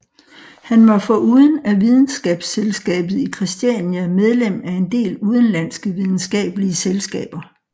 Han var foruden af Videnskabsselskabet i Kristiania medlem af en del udenlandske videnskabelige selskaber